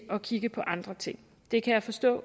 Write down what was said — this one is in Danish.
at kigge på andre ting det kan jeg forstå